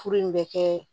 Furu in bɛ kɛ